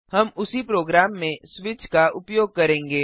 हम उसी प्रोग्राम में स्विच का उपयोग करेंगे